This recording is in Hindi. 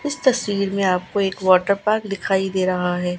इस तस्वीर में आपको एक वाटर पार्क दिखाई दे रहा है।